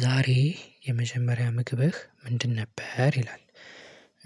ዛሬ የመጀመሪያ ምግብህ ምንድን ነበር ይላል?